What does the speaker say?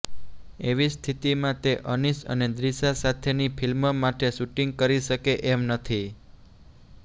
એવી સ્થિતિમાં તે અનીસ અને દિૃશા સાથેની ફિલ્મ માટે શૂિંટગ કરી શકે એમ નથી